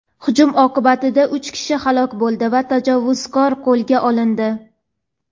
Hujum oqibatida uch kishi halok bo‘ldi va tajovuzkor qo‘lga olindi.